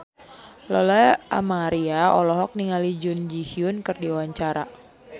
Lola Amaria olohok ningali Jun Ji Hyun keur diwawancara